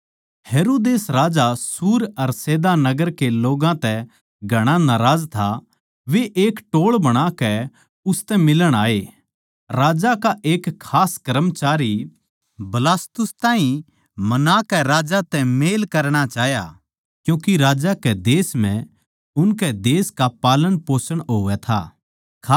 हेरोदेस राजा सूर अर सैदा नगर के लोग्गां तै घणा नाराज था वे एक टोळ बणाकै उसतै मिलण आये राजा का एक खास कर्मचारी बलास्तुस ताहीं मनाकै राजा तै मेल करणा चाह्या क्यूँके राजै कै देश म्ह उनकै देश का पालनपोषण होवै था